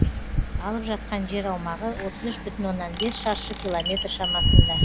алып жатқан жер аумағы отыз үш бүтін оннан бес шаршы километр шамасында